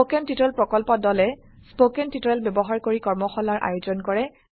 spoken tutorial প্ৰকল্প দলে spoken tutorial ব্যবহাৰ কৰি কৰ্মশালাৰ আয়োজন কৰে